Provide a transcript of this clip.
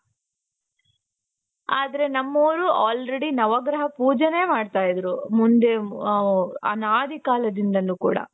ಆದ್ರೆ ನಮ್ಮವರು already ನವಗ್ರಹ ಪೂಜೇನೆ ಮಾಡ್ತಾ ಇದ್ದರು ಮುಂದೆ ಅ ಅನಾದಿ ಕಾಲದಿಂದಲೂ ಕೂಡ.